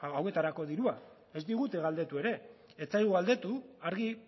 hauetarako dirua ez digute galdetu ere ez zaigu galdetu argi